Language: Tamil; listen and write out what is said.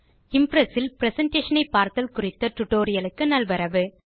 இம்ப்ரெஸ் ல் பிரசன்டேஷன் ஐ பார்த்தல் குறித்த டியூட்டோரியல் க்கு நல்வரவு